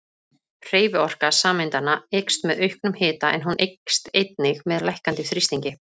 Hreyfiorka sameindanna eykst með auknum hita en hún eykst einnig með lækkandi þrýstingi.